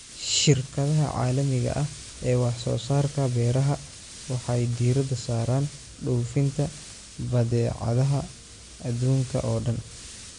Shirkadaha caalamiga ah ee wax-soo-saarka beeraha waxay diiradda saaraan dhoofinta badeecadaha adduunka oo dhan.